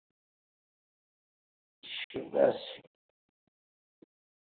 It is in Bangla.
ঠিকাছে